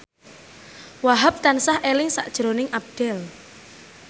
Wahhab tansah eling sakjroning Abdel